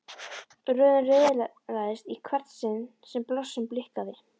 Röðin riðlaðist í hvert sinn sem blossinn blikkaði.